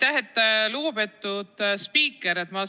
Aitäh, lugupeetud spiiker!